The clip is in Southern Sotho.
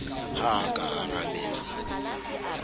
ha a ka a arabela